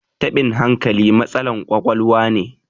tabin hankali matsalan kwakwaluwa ne